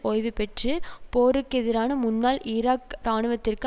ஒய்வுபெற்று போருக்கெதிரான முன்னாள் ஈராக் இராணுவத்திற்கு